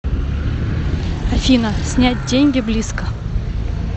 афина снять деньги близко